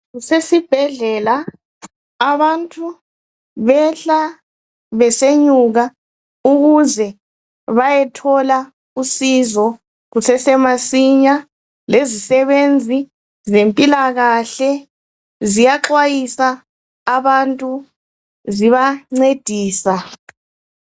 Kusesibhedlela abantu behla besenyuka ukuze bayethola usizo kusesemasinya lezisebenzi zempilakahle ziyaxwayisa abantu zibancedisa .